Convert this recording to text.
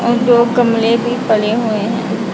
और दो गमले भी पड़े हुए हैं।